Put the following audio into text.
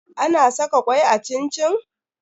Ana saka kwai a cin-cin?